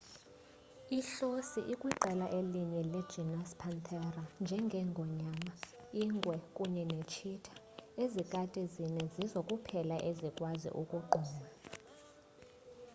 ihlosi ikwiqela elinye le genus panthera njenge ngonyama ingwe kunye ne tshitha. ezikati zine zizo kuphela ezikwazi ukugquma